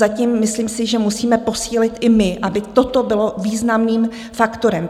Zatím myslím si, že musíme posílit i my, aby toto bylo významným faktorem.